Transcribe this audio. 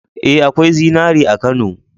Ee, akwai zinari a Kano.